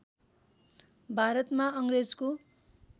भारतमा अङ्ग्रेजको